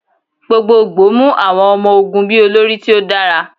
Gbogbogbo mu awọn ọmọ-ogun bi olori ti o dara